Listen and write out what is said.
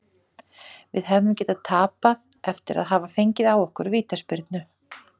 Við hefðum getað tapað eftir að hafa fengið á okkur vítaspyrnu.